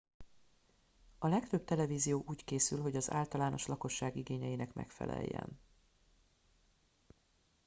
a legtöbb televízió úgy készül hogy az általános lakosság igényeinek megfeleljen